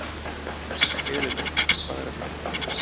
Elinór, hvað er að frétta?